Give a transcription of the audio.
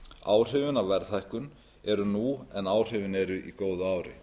áhrifin af verðhækkun eru nú en áhrifin eru í góðu ári